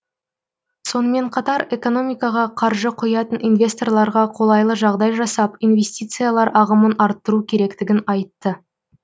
сонымен қатар экономикаға қаржы құятын инвесторларға қолайлы жағдай жасап инвестициялар ағымын арттыру керектігін айтты